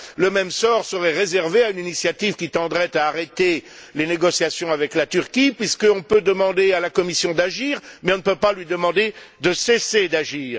Le même sort serait réservé à l'initiative qui tendrait à arrêter les négociations avec la Turquie, puisqu'on peut demander à la Commission d'agir mais qu'on ne peut pas lui demander de cesser d'agir.